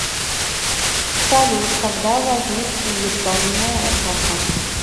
салют когда возник фельетонная эпоха